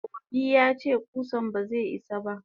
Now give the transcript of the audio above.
Obi yace kusan baze isa ba.